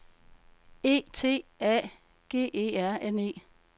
E T A G E R N E